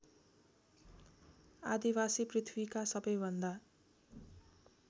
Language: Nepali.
आदिवासी पृथ्वीका सबैभन्दा